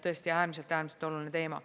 Tõesti, äärmiselt-äärmiselt oluline teema.